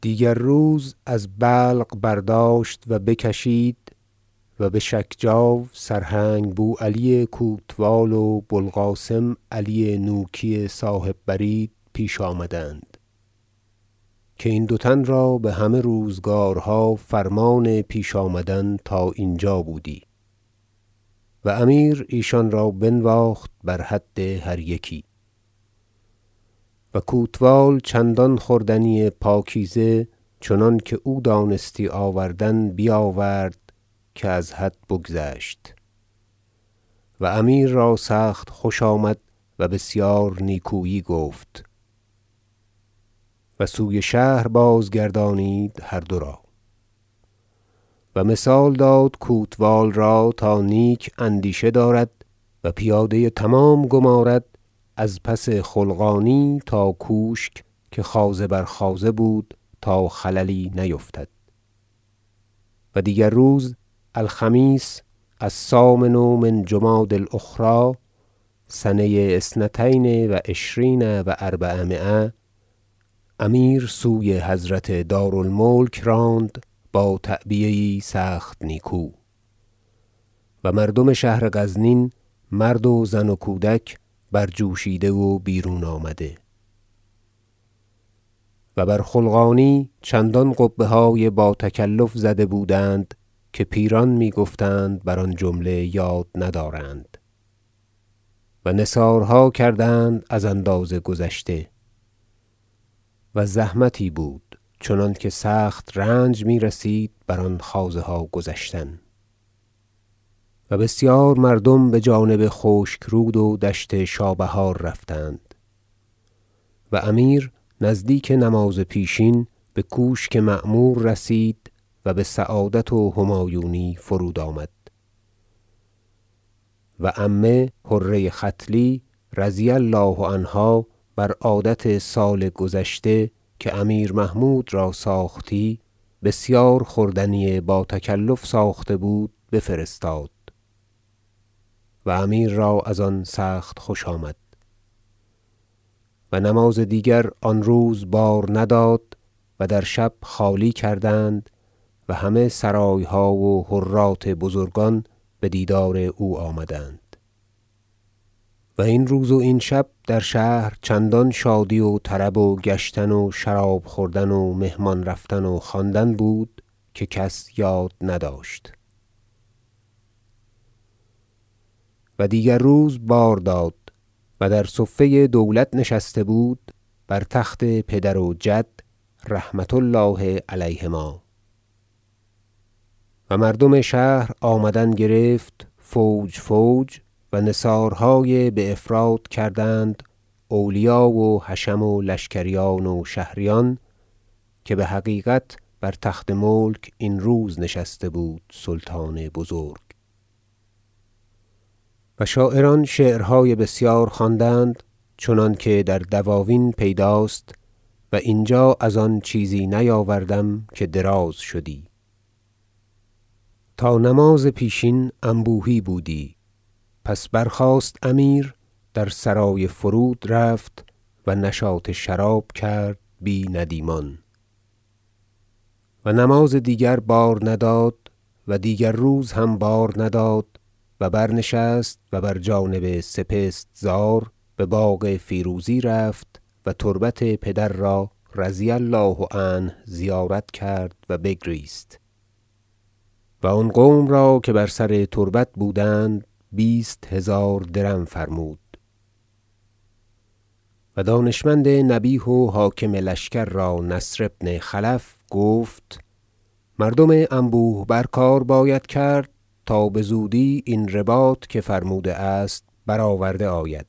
ورود امیر بغزنین و استقبال مردم دیگر روز از بلق برداشت و بکشید و به شجکاو سرهنگ بوعلی کوتوال و بو القاسم علی نوکی صاحب برید پیش آمدند که این دو تن را بهمه روزگارها فرمان پیش آمدن تا اینجا بودی و امیر ایشان را بنواخت بر حد هر یکی و کوتوال چندان خوردنی پاکیزه چنانکه او دانستی آوردن بیاورد که از حد بگذشت و امیر را سخت خوش آمد و بسیار نیکویی گفت و سوی شهر بازگردانید هر دو را و مثال داد کوتوال را تا نیک اندیشه دارد و پیاده تمام گمارد از پس خلقانی تا کوشک که خوازه بر خوازه بود تا خللی نیفتد و دیگر روز الخمیس الثامن من جمادی الاخری سنه اثنتین و عشرین و اربعمایه امیر سوی حضرت دار الملک راند با تعبیه یی سخت نیکو و مردم شهر غزنین مرد و زن و کودک برجوشیده و بیرون آمده و بر خلقانی چندان قبه های با تکلف زده بودند که پیران می گفتند بر آن جمله یاد ندارند و نثارها کردند از اندازه گذشته و زحمتی بود چنانکه سخت رنج میرسید بر آن خوازها گذشتن و بسیار مردم بجانب خشک رود و دشت شابهار رفتند و امیر نزدیک نماز پیشین بکوشک معمور رسید و بسعادت و همایونی فرود آمد و عمه حره ختلی رضی الله عنها بر عادت سال گذشته که امیر محمود را ساختی بسیار خوردنی با تکلف ساخته بود بفرستاد و امیر را از آن سخت خوش آمد و نماز دیگر آن روز بار نداد و در شب خالی کردند و همه سرایها و جرات بزرگان به دیدار او آمدند و این روز و این شب در شهر چندان شادی و طرب و گشتن و شراب خوردن و مهمان رفتن و خواندن بود که کس یاد نداشت و دیگر روز بار داد و در صفه دولت نشسته بود بر تخت پدر و جد رحمة الله علیهما و مردم شهر آمدن گرفت فوج فوج و نثارهای بافراط کردند اولیا و حشم و لشکریان و شهریان که بحقیقت بر تخت ملک این روز نشسته بود سلطان بزرگ و شاعران شعرهای بسیار خواندند چنانکه در دواوین پیداست و اینجا از آن چیزی نیاوردم که دراز شدی تا نماز پیشین انبوهی بودی پس برخاست امیر در سرای فرود رفت و نشاط شراب کرد بی ندیمان و نماز دیگر بار نداد و دیگر روز هم بار نداد و برنشست و بر جانب سپست زار بباغ فیروزی رفت و تربت پدر را رضی الله عنه زیارت کرد و بگریست و آن قوم را که بر سر تربت بودند بیست هزار درم فرمود و دانشمند نبیه و حاکم لشکر را نصر بن خلف گفت مردم انبوه بر کار باید کرد تا بزودی این رباط که فرموده است برآورده آید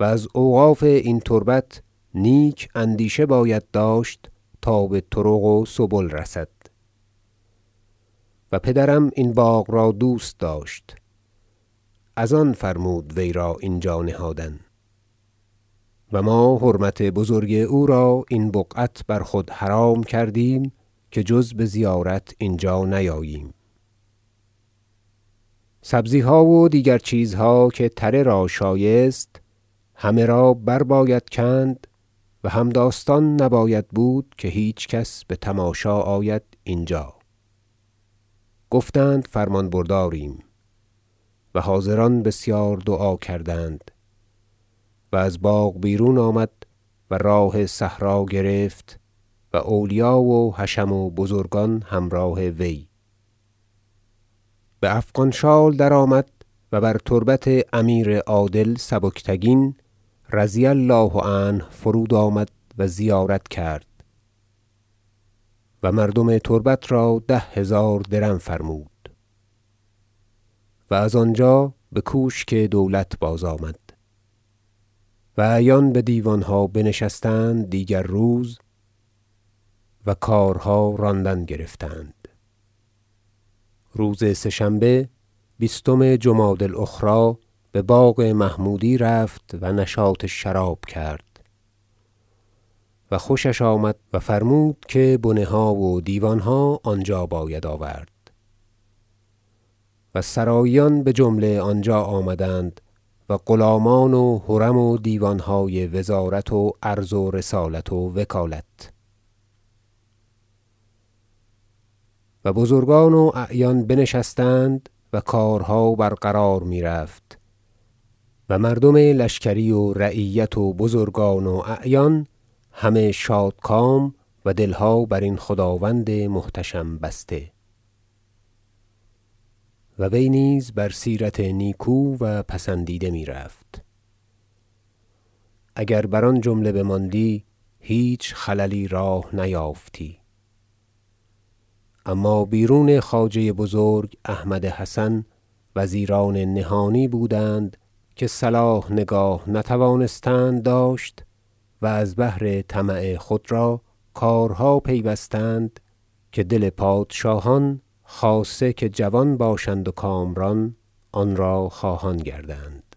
و از اوقاف این تربت نیک اندیشه باید داشت تا بطرق و سبل رسد و پدرم این باغ را دوست داشت از آن فرمود وی را اینجا نهادن و ما حرمت بزرگ او را این بقعت بر خود حرام کردیم که جز بزیارت اینجا نیاییم سبزیها و دیگر چیزها که تره را شایست همه را برباید کند و هم- داستان نباید بود که هیچ کس بتماشا آید اینجا گفتند فرمان برداریم و حاضران بسیار دعا کردند و از باغ بیرون آمد و راه صحرا گرفت و اولیا و حشم و بزرگان همراه وی بافغان شال درآمد و بتربت امیر عادل سبکتگین رضی الله عنه فرود آمد و زیارت کرد و مردم تربت را ده هزار درم فرمود و از آنجا بکوشک دولت بازآمد و اعیان بدیوانها بنشستند دیگر روز و کارها راندن گرفتند روز سه شنبه بیستم جمادی الاخری بباغ محمودی رفت و نشاط شراب کرد و خوشش آمد و فرمود که بنه ها و دیوانها آنجا باید آورد و سراییان بجمله آنجا آمدند و غلامان و حرم و دیوانهای وزارت و عرض و رسالت و وکالت و بزرگان و اعیان بنشستند و کارها برقرار می رفت و مردم لشکری و رعیت و بزرگان و اعیان همه شادکام و دلها برین خداوند محتشم بسته و وی نیز بر سیرت نیکو و پسندیده می رفت اگر بر آن جمله بماندی هیچ خللی راه نیافتی اما بیرون خواجه بزرگ احمد حسن وزیران نهانی بودند که صلاح نگاه نتوانستند داشت و از بهر طمع خود را کارها پیوستند که دل پادشاهان خاصه که جوان باشند و کامران آنرا خواهان گردند